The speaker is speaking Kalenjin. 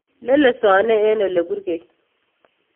Lelesone en oleburkei.